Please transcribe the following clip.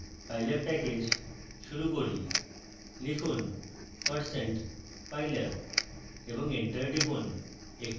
pylab package শুরু করি